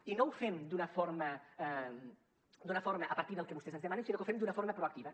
i no ho fem d’una forma a partir del que vostès ens demanen sinó que ho fem d’una forma proactiva